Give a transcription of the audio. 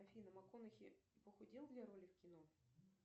афина макконахи похудел для роли в кино